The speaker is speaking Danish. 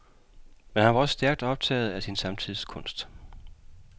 Men han var også stærkt optaget af sin samtids kunst.